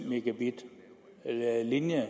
mbit linje